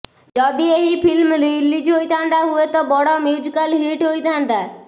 ଯଦି ଏହି film release ହୋଇଥାଆନ୍ତା ହୁଏତ ବଡ ମ୍ୟୁଜିକାଲ୍ ହିଟ୍ ହୋଇଥାନ୍ତା